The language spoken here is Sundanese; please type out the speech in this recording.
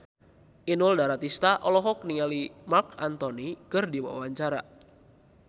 Inul Daratista olohok ningali Marc Anthony keur diwawancara